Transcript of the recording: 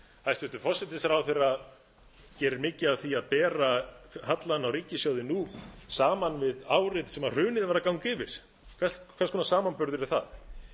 hæstvirtur forsætisráðherra gerir mikið af því að bera hallann á ríkissjóði nú saman við árið sem hrunið var að ganga yfir hvers konar samanburður er það